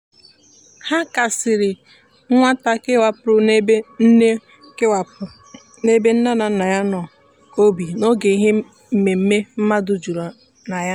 ha kasiri nwata kewapụrụ n'ebe nne kewapụrụ n'ebe nne na nna ya nọ obi n'oge ihe mmemme mmadụ juru na ya.